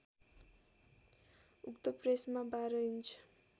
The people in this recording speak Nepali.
उक्त प्रेसमा १२ इन्च